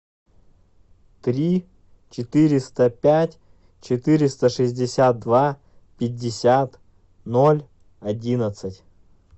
три четыреста пять четыреста шестьдесят два пятьдесят ноль одиннадцать